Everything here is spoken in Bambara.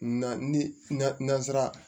Na ni na nansara